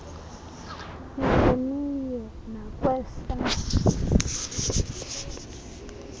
nikhe niye nakwesa